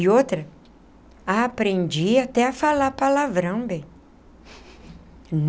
E outra, aprendi até a falar palavrão, bem.